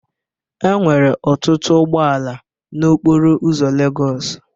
Enwere ọtụtụ ụgbọ ala n'okporo ụzọ Lagos